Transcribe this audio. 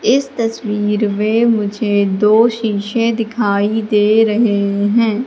इस तस्वीर में मुझे दो शीशे दिखाई दे रहे हैं।